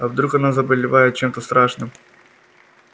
а вдруг она заболевает чем-то страшным